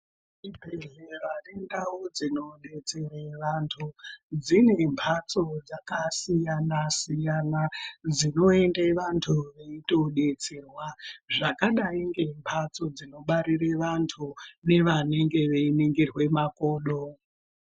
Zvibhodhlera nendau dzinodetsera antu, dzine mphatso dzakasiyana-siyana dzinoende vantu veitodetserwa, zvakadai ngemphatso dzinobarire vantu, nevanenge veiningirwe makodo.